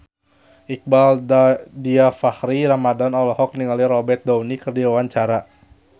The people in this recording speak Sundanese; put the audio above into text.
Iqbaal Dhiafakhri Ramadhan olohok ningali Robert Downey keur diwawancara